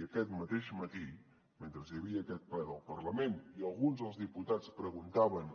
i aquest mateix matí mentre hi havia aquest ple del parlament i alguns dels diputats preguntaven